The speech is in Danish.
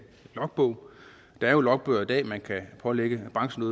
logbog der er jo logbøger i dag man kan pålægge brancherne